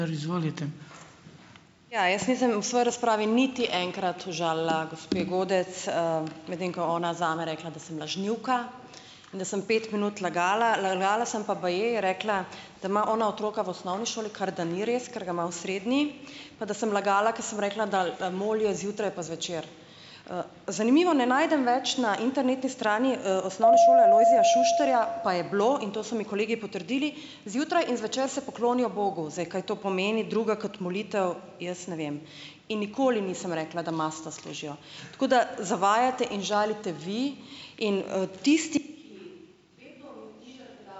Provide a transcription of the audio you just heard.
Ja, jaz nisem v svoji razpravi niti enkrat užalila gospe Godec, medtem ko ona zame rekla, da sem lažnivka in da sem pet minut lagala, lagala sem pa baje je rekla, da ima ona otroka v osnovni šoli, kar, da ni res, ker ga ima v srednji, pa da sem lagala, ko sem rekla, da, molijo zjutraj pa zvečer. Zanimivo, ne najdem več na internetni strani, Osnovne šole Alojzija Šuštarja, pa je bilo, in to so mi kolegi potrdili, zjutraj in zvečer se poklonijo Bogu. Zdaj, kaj to pomeni drugega kot molitev, jaz ne vem in nikoli nisem rekla, da mastno služijo. Tako da, zavajate in žalite vi in, tisti